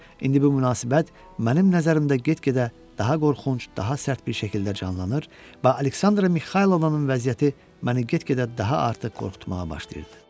İndi bu münasibət mənim nəzərimdə get-gedə daha qorxunc, daha sərt bir şəkildə canlanır və Aleksandra Mixaylovnanın vəziyyəti məni get-gedə daha artıq qorxutmağa başlayırdı.